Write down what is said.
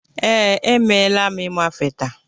Ee, emela m ịmafe taa.